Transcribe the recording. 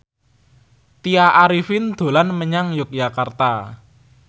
Tya Arifin dolan menyang Yogyakarta